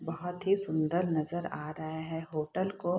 बहोत ही सुंदर नज़र आ रहा है। होटल को --